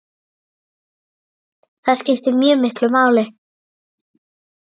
Það skiptir mjög miklu máli.